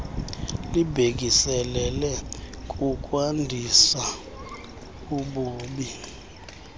libhekiselele kukwandisa ububi